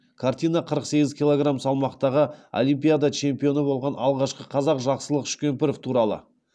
картина қырық сегіз килограмм салмақтағы олимпиада чемпионы болған алғашқы қазақ жақсылық үшкемпіров туралы